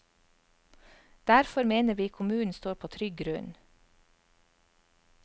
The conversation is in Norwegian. Derfor mener vi kommunen står på trygg grunn.